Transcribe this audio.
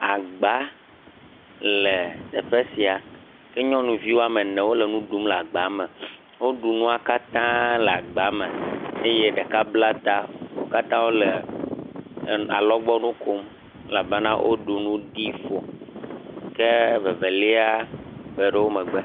Agba le teƒe sia, ke nyɔnuvi woame ene wole nu ɖum le gba me. Woɖu nua kata le gba me eye ɖeka bla ta. Wo kata wole alɔgbɔ nu kom elabena woɖu nu ɖi ƒo ke vevelia be ɖe wo megbe.